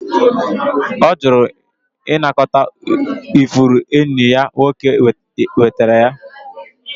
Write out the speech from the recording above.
Ọ jụrụ ịnakọta ifuru enyi ya nwoke zụtara ya